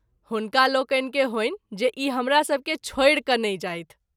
हुनका लोकनि के होइन जे ई हमरा सभके छोड़ि के नहिं जाइथ।